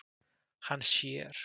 Hann sér.